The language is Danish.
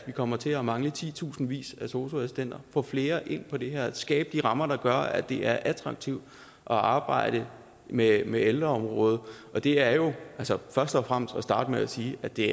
vi kommer til at mangle titusindvis af sosu assistenter vi få flere ind på det her område og skabe de rammer der gør at det er attraktivt at arbejde med med ældreområdet det er jo først og fremmest at starte med at sige at det